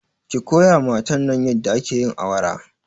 ki koyawa matan nan yadda ake yin awara